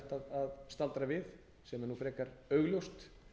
að staldra við sem er frekar augljóst